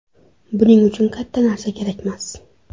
Buning uchun katta narsa kerakmas.